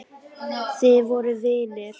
Þið voruð vinir.